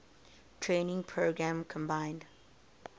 training program combined